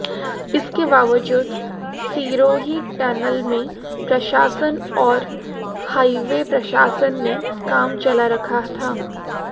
इसके बावजूद सिरोही टनल में प्रशासन और हाईवे प्रशासन ने काम चला रखा था